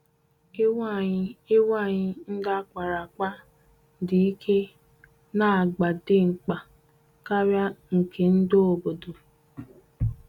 Ewu anyị Ewu anyị ndị a kpara akpa dị ike na agba dimkpa karia nke ndị obodo.